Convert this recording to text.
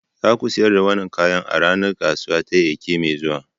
Za ku sayar da wannan kayan a ranar kasuwa ta Eke mai zuwa.